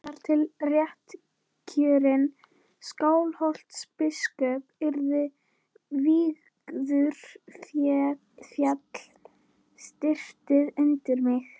Þar til réttkjörinn Skálholtsbiskup yrði vígður féll stiftið undir mig.